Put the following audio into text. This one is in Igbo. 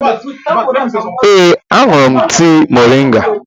Ee, aṅụrụ m tii moringa